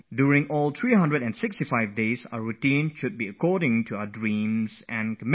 In any case, our daily schedule for all the 365 days in a year should be in line with achieving our dreams and goals